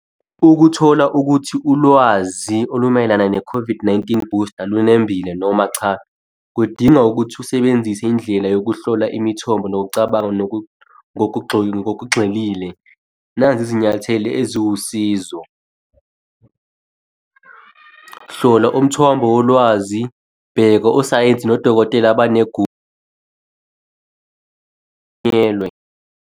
Ukuthola ukuthi ulwazi olumayelana ne-COVID-19 booster olunembile noma cha, kudinga ukuthi usebenzise indlela yokuhlola imithombo nokucabanga ngokugxilile. Nazi izinyathelo eziwusizo. Hlola umthombo wolwazi, bheka osayensi nodokotela banegunya .